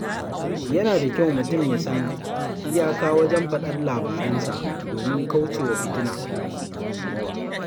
Yana da kyau mutum ya san iyaka wajen faɗar labaransa domin kauce wa fitina.